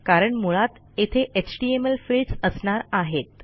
कारण मुळात येथे एचटीएमएल फील्ड्स असणार आहेत